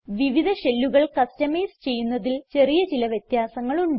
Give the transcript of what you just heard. വിവിധ ഷെല്ലുകൾ കസ്റ്റമൈസ് ചെയ്യുന്നതിൽ ചെറിയ ചില വ്യത്യാസങ്ങൾ ഉണ്ട്